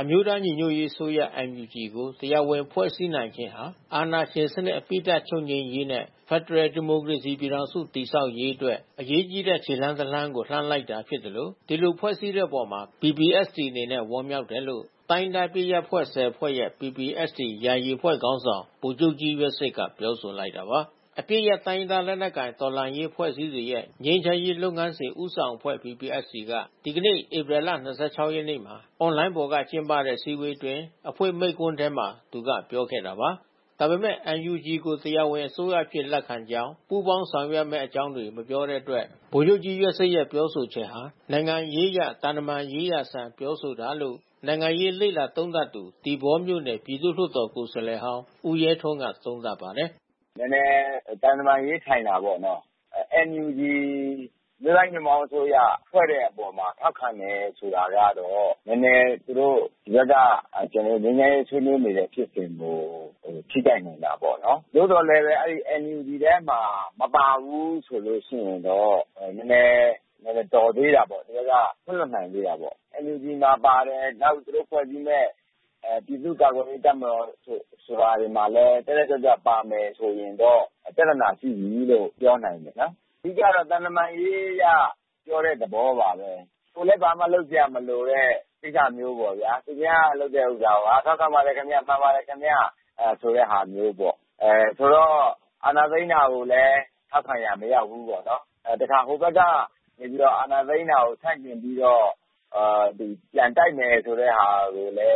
အမျိုးသားညီညွတ်ရေးအစိုးရ ကို တရားဝင်ဖွဲ့စည်းနိုင်ခြင်းဟာ အာဏာရှင်စနစ် အပြီးသတ်ချုပ်ငြိမ်းရေးနဲ့ ဖက်ဒရယ်ဒီမိုကရေစီ ပြည်ထောင်စုတည်ဆောက်ရေးအတွက် အရေးကြီးတဲ့ ခြေလှမ်းတလှမ်းကို လှမ်းလိုက်တာ ဖြစ်သလို ဒီလိုဖွဲ့စည်းတဲ့အပေါ် PPST အနေနဲ့ ဝမ်းမြောက်တယ်လို့ တိုင်းရင်းသားအပစ်ရပ်အဖွဲ့ ဖွဲ့ရဲ့ PPST ယာယီ အဖွဲ့ခေါင်းဆောင် ဗိုလ်ချုပ်ကြီး ယွက်ဆစ် ကပြောဆိုလိုက်တာပါ။ အပစ်ရပ် တိုင်းရင်းသားလက်နက်ကိုင်တော်လှန်ရေးအဖွဲ့အစည်းတွေရဲ့ ငြိမ်းချမ်းရေးလုပ်ငန်းစဉ် ဦးဆောင် အဖွဲ့ က ဒီနေ့ ဧပြီ ၂၆ ရက်မှာ အွန်လိုင်းပေါ်က ကျင်းပတဲ့ အစည်းအဝေးအတွင်း အဖွင့်မိန့်ခွန်းထဲမှာ သူကပြောခဲ့တာပါ။ ဒါပေမဲ့ NUG ကို တရားဝင်အစိုးရအဖြစ်လက်ခံကြောင်း ပူးပေါင်းဆောင်ရွက်မယ့်အကြောင်းတွေ မပြောတဲ့အတွက် ဗိုလ်ချုပ်ကြီး ယွက်စစ်ရဲ့ပြောဆိုချက်ဟာ နိုင်ငံရေးအရ သံတမန်ရေးရာဆန်ပြောဆိုတာလို့ နိုင်ငံရေးရေးလေ့လာ သုံးသပ်သူ သီပေါမြို့နယ်ပြည်သူလွှတ်တော်ကိုယ်စားလှယ်ဟောင်းဦးရဲထွန်းကသုံးသပ်ပါတယ်။ “နဲနဲ သံတမန်ရေးဆန်တာပေါ့နော်။ NUG အစိုးရဖွဲ့တဲ့အပေါ်မှာ ထောက်ခံတယ်ဆိုတာကတော့ နဲနဲသူတို့ဘက်က ငြိမ်းချမ်းရေးဆွေးနွေးလိုတဲ့ဖြစ်စဉ်ကို ထိခိုက်နိုင်တာပေါ့နော်။ သို့သော်လည်းဘဲ အဲဒီ NUGထဲမှာ မပါဘူးဆိုလို့ ရှိရင်တော့ ဟိုဘက်က ခွင့်လွှတ်နိုင်သေးတာပေါ့။ NUG မှာပါမယ်နောက်သူတို့ဖွဲ့စည်းမဲ့ ပြည်သူ့ ကာကွယ်ရေး တပ်မတော်တွေမှာလဲ တက်တက်ကြွကြွပါမယ်ဆိုရင်တော့ ပြဿနာရှိပြီးလို့ပြောနိုင်တယ်ပေါ့။ အဓိကတော့ သံတမန်ရေးအရပြောတဲ့သဘောပါဘဲ။ အာဏာသိမ်းတာကိုလဲထောက်ခံရာမရောက်ဘူးပေါ့။ အာဏာသိမ်းတာကို ဆန့်ကျင်ပြီးတော့ ပြန်တိုက်မယ်ဆိုတဲ့ဟာကိုလဲ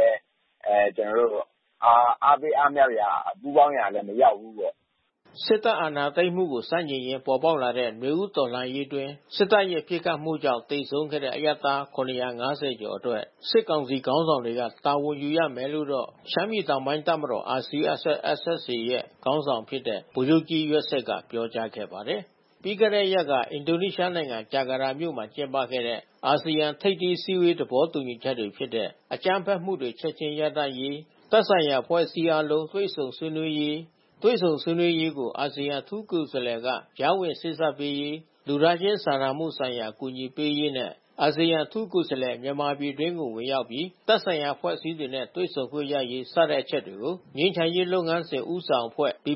အားပေးအားမြောက်ရာ ပူးပေါင်းရာလဲမရောက်ဘူးပေါ့။” စစ်တပ်အာဏာသိမ်းမှုကို ဆန့်ကျင်ရင်းပေါ်ပေါက်လာသော နွေဦးတော်လှန်ရေးအတွင်း စစ်တပ်ရဲ့ ပစ်ခတ် မှုတွေကြောင့် သေဆုံးခဲ့တဲ့ အရပ်သား ၇၅၀ ကျော်အတွက် စစ်ကောင်စီခေါင်းဆောင်တွေက တာဝန်ယူရမယ်လို့တော့ ရှမ်းပြည်တောင်ပိုင်း တပ်မတော် RCSS/ SSA South ရဲ့ခေါင်းဆောင်ဖြစ်တဲ့ ဗိုလ်ချုပ်ကြီးယွက်စစ်က ပြောကြားခဲ့ပါတယ်။ ပြီးခဲ့တဲ့ရက်က အင်ဒိုနီးရှားနိုင်ငံဂျာကာတာမြို့မှာကျင်းပခဲ့တဲ့ အာဆီယံထိပ်သီးအစည်းအဝေးသဘောတူညီချက် တွေဖြစ်တဲ့ အကြမ်းဖက်မှုတွေ ချက်ချင်းရပ်တန့်ရေး၊ သက်ဆိုင်ရာအဖွဲ့အစည်းအားလုံး တွေ့ဆုံဆွေးနွေးရေး၊ တွေ့ဆုံဆွေးနွေးရေးကို အာဆီယံအထူးကိုယ်စားလှယ်က ကြားဝင်စေ့စပ်ပေးရေး၊ လူသားချင်းစာနာမှုဆိုင်ရာ အကူအညီပေး ရေး နဲ့အာဆီယံ အထူးကိုယ်စားလှယ် မြန်မာပြည်အတွင်းကို ဝင်ရောက်ပြီး သက်ဆိုင်ရာအဖွဲ့ အစည်းတွေနဲ့ တွေ့ဆုံခွင့် ရရေး စတဲ့အချက်တွေကို ငြိမ်းချမ်းရေးလုပ်ငန်းစဉ်ဦးဆောင်အဖွဲ့ အနေ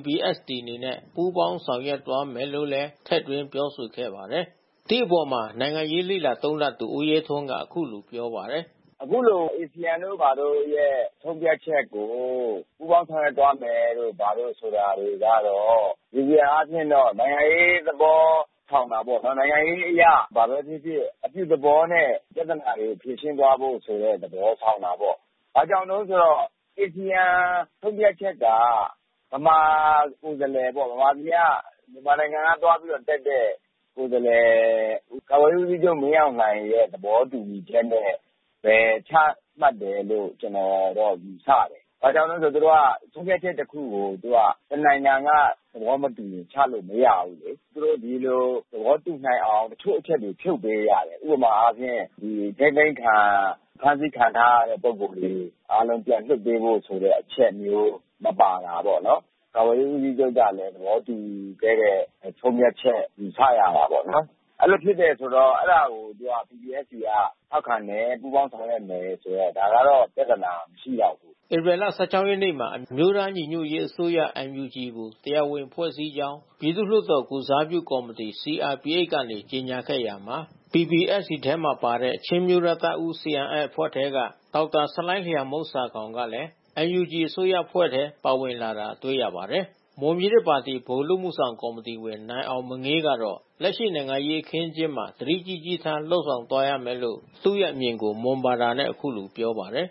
နဲ့ ပူးပေါင်းဆောင်ရွက်သွား မယ်လို့ လည်း ထည့်သွင်းပြောဆိုခဲ့ပါတယ်။ ဒီအပေါ်နိုင်ငံရေးလေ့လာသုံးသပ်သူ ဦးရဲထွန်းကအခုလိုပြောပါတယ်။ “အခုလို အာစီယံတို့ဘာတို့ရဲ့ ဆုံးဖြတ်ချက်ကို ပူးပေါင်းသွားမယ်တို့ဘာတို့ဆိုတာတွေကတော့ နိုင်ငံရေးသဘော ဆောင်တာပေါ့နော်။ နိုင်ငံရေးအရ ဘာဘဲဖြစ်ဖြစ်အပြုသဘောနဲ့ ပြဿနာတွေကို အပြုသဘောနဲ့ ဖြေရှင်းသွားဖို့ဆိုတဲ့ သဘောဆောင်တာပေါ့။ အာဆီယံဆုံးဖြတ်ချက်က မြန်မာနိုင်ငံကသွားပြီးတက်တဲ့ကိုယ်စားလှယ် ကာကွယ်ရေးဦးစီးချုပ် မင်းအောင်လှိုင်ရဲ့ သဘောတူညီချက်နဲ့ ချမှတ်တယ်လို့ကျွန်တော်ကယူဆတယ်။ ဘာကြောင့်လဲဆိုသူတို့က ဆုံးဖြတ်ချက်တခုကို တနိုင်ငံကသဘောမတူရင်ချလို့မရဘူးလေ။ ဒီလိုသဘောတူနိုင်အောင်တချို့အချက်ကိုဖြုတ်ပေးရတယ်။ ဥပမာအားဖြင့်အထိန်းသိမ်းခံ အဖမ်းဆီးခံထားရတဲ့ပုဂ္ဂိုလ်တွေ အားလုံးပြန်လွှတ်ပေးဖို့အချက်မျိုး မပါတာပေါ့။ ကာကွယ်ရေးဦးစီးချုပ်ကလဲသဘောတူညီခဲ့တဲ့ ဆုံးဖြတ်ချက်ယူဆရတာပေါ့နော်။ အဲတာကိုPPSTကထောက်ခံတယ် ပူးပေါင်းဆောင်ရွက်မယ်ဆိုတော့ ဒါကတော့ပြဿနာမရှိလောက်ဘူး။” ဧပြီ ရက်မှာ အမျိုးသားညီညွတ်ရေး အစိုးရ ကို တရားဝင်ဖွဲ့စည်းကြောင်း ပြည်သူ့လွှတ်တော်ကိုယ်စားပြု ကော်မီတီ CRPHကနေ ကြေညာခဲ့ရာမှာ PPST ထဲမှာပါတဲ့ ချင်းအမျိုးသားတပ်ဦး အဖွဲ့ထဲက ဒေါက် တာဆလိုင်းလျန်မှုန်းဆာခေါင်ကလည်း NUG အစိုးရအဖွဲ့ထဲ ပါဝင်လာတာ တေ့ွရပါတယ်။ မွန်ပြည်သစ်ပါတီဗဟိုအလုပ်အမှုဆောင်ကော်မတီဝင် နိုင်အောင်မငေးကတော့ လက်ရှိနိုင်ငံရေးအခင်းအကျင်းမှာ သတိကြီးကြီးထား လုပ်ဆောင်သွားရမယ်လို့သူ့ရဲ့အမြင်ကို မွန်ဘာသာနဲ့အခုလိုပြောပါတယ်။ “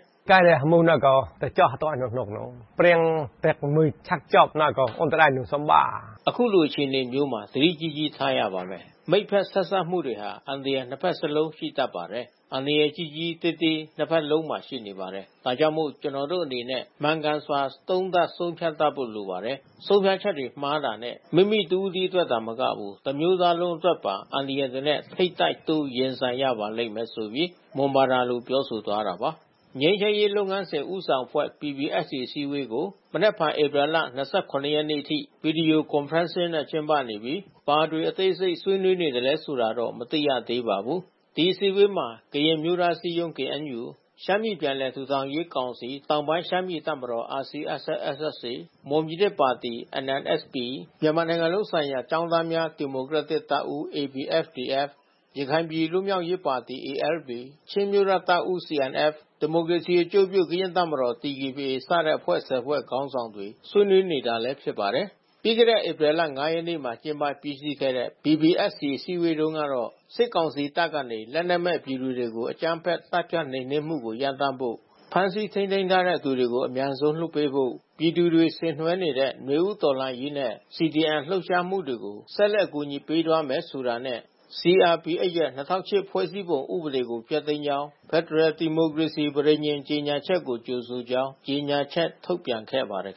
အခုအလိုအခြေအနေမျိုးမှာ သတိကြီးကြီးထားရပါမယ်။ မိတ်ဖက်ဆက်စပ်မှုတွေဟာ အန္တရာယ် ၂ ဘက်စလုံးရှိ တတ်ပါတယ်။ အန္တရယ်ကြီးကြီး သေးသေး ၂ ဖက်စလုံးမှာရှိနေပါတယ် ဒါကြောင့် ကျနော်တို့အနေနဲ့ မှန်ကန်စွာ သုံးသပ်ဆုံးဖြတ်တတ်ဖို့လိုပါတယ်။ ဆုံးဖြတ်ချက်တွေမှားတာနဲ့ မိမိတစ်ဦးတည်းအတွက်သာမက တစ်မျိုးသားလုံး အတွက်ပါ အန္တရယ်တွေနဲ့ ထိပ်တိုက်တိုးရင်ဆိုင်ရပါလိမ့်မယ်။ ” ငြိမ်းချမ်းရေးလုပ်ငန်းစဉ် ဦးဆောင်အဖွဲ့ အစည်းအဝေးကို မနက်ဖန်ဧပြီလ ရက်နေ့အထိ Video Conferencing ဖြင့် ကျင်းပနေပြီး ဘာတွေအသေးစိတ် ဆွေးနွေးနေသလဲဆိုတာတော့ မသိရသေးပါဘူး။ ဒီအစည်းဝေးမှာ ကရင်အမျိုးသားအစည်းအရုံး ၊ ရှမ်းပြည်ပြန်လည် ထူထောင်ရေးကောင်စီ/ တောင်ပိုင်းရှမ်းပြည်တပ်မတော် ၊ မွန်ပြည်သစ်ပါတီ ၊ မြန်မာနိုင်ငံလုံးဆိုင်ရာ ကျောင်းသားများဒီမိုကရက် တစ်တပ်ဦး ၊ ရခိုင်ပြည်လွတ်မြောက်ရေးပါတီ ၊ ချင်းအမျိုးသားတပ်ဦး ၊ ဒီမိုကရေစီ အကျိုးပြု ကရင်တပ်မတော် စတဲ့အဖွဲ့ ဖွဲ့ခေါင်းဆောင်တွေဆွေးနွေးနေတာလဲဖြစ်ပါတယ်။ ပြီးခဲ့တဲ့ဧပြီလ ရက်နေ့မှာကျင်းပပြီးစည်းခဲ့တဲ့ အစည်းအဝေးတုန်းကတော့ စစ်ကောင်စီတပ်ကနေ လက်နက်မဲ့ ပြည်သူတွေကိုအကြမ်းဖက်သတ်ဖြတ်နှိမ်နှင်းမှုကိုရပ်တန့်ဖို့ ဖမ်းဆီးထိန်းသိမ်းထားတဲ့ သူတွေကိုအမြန်ဆုံး လွှတ်ပေးဖို့ ပြည်သူတွေဆင်နွှဲနေတဲ့ နွေဦးတော်လှန်ရေးနဲ့CDMလှုပ်ရှားမှုတွေကို ဆက်လက်ကူညီသွားမယ်ဆိုတာနဲ့ CRPHရဲ့၂၀၀၈ဖွဲ့စည်းပုံဥပဒေကိုဖျက်သိမ်းကြောင်း ဖက်ဒရယ်ဒီမိုကရေစီပဋိညဉ်ကြေညာချက်ကိုကြိုဆိုကြောင်း ကြေညာချက်ထုတ်ပြန်ခဲ့ပါတယ်